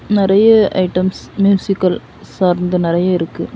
நெறைய items musical சார்ந்து நெறைய இருக்கு.